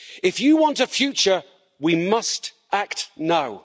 If you want a future, we must act now.